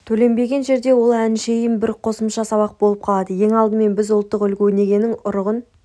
төленбеген жерде ол әншейін бір қосымша сабақ болып қалады ең алдымен біз ұлттық үлгі-өнегенің ұрығын